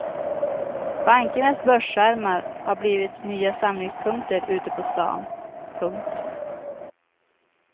Bankernas börsskärmar har blivit nya samlingspunkter ute på stan. punkt